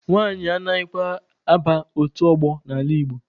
Nwanyị anaghịkwa aba otu ọgbọ n'ala Igbo.